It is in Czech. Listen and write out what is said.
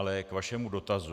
Ale k vašemu dotazu.